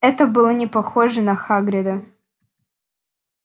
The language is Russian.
это было не похоже на хагрида